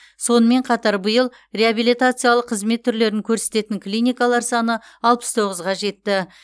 сонымен қатар биыл реабилитациялық қызмет түрлерін көрсететін клиникалар саны алпыс тоғызға жетті